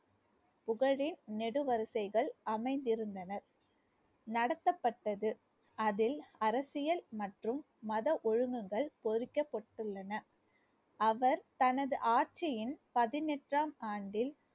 புகழே நெடு வரிசைகள் அமைந்திருந்தனர் நடத்தப்பட்டது அதில் அரசியல் மற்றும் மத ஒழுங்குகள் பொறிக்கப்பட்டுள்ளன அவர் தனது ஆட்சியின் பதினெட்டாம் ஆண்டில்